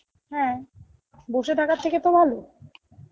হ্যাঁ, বসে থাকার থেকে তো ভালো